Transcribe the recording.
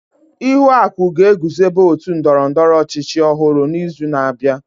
Ihuaku ga-eguzobe ótù ndọrọ ndọrọ ọchịchị ọhụrụ n'izu na-abịa.